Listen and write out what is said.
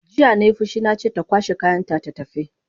Jiya nai fushi nace ta kwashe kayanta ta tafi!